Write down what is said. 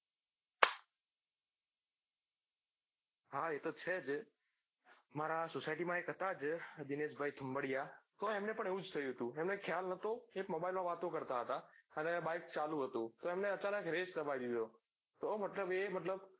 હા એતો છે જ મારા એક society હતા જ એક દિનેશભાઇ થુમ્બાડીયા તો એમણે પન્ન એવું જ થયું તું એમને ખ્યાલ નતો એ mobile માં વાતો કરતા હતા અને bike ચાલુ હ્હતું અને એમને અચાનક રેસ દબાઈ દીધો તો મતલબ એ મતલબ